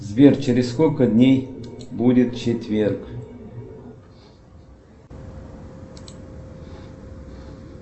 сбер через сколько дней будет четверг